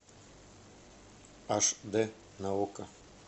аш д на окко